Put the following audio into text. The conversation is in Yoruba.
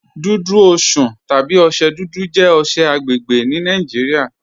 Dùdú Osùn tàbí ọṣẹ̀ dúdú jẹ̀ ọṣẹ̀ agbẹ́gbẹ́ ní Nàìjíríà.